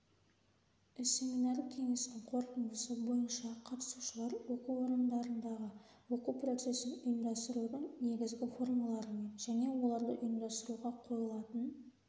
семинар-кеңестің қорытындысы бойынша қатысушылар оқу орындарындағы оқу процесін ұйымдастырудың негізгі формаларымен және оларды ұйымдастыруға қойылатын